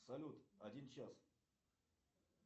салют один час